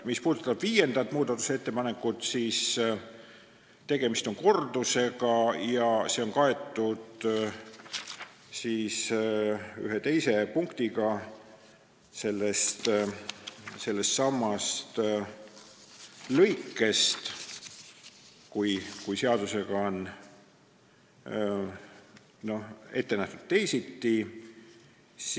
Mis puudutab viiendat muudatusettepanekut, siis tegemist on kordusega, mis on kaetud ühe teise punktiga sellestsamast lõikest, st kui seadusega on ette nähtud teisiti.